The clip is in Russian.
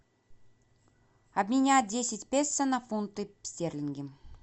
обменять десять песо на фунты стерлинги